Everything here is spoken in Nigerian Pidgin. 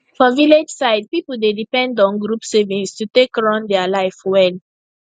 for village side people dey depend on group savings to take run their life well